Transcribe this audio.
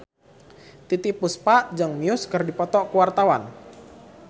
Titiek Puspa jeung Muse keur dipoto ku wartawan